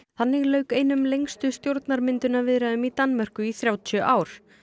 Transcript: þannig lauk einum lengstu stjórnarmyndunarviðræðum í Danmörku í þrjátíu ár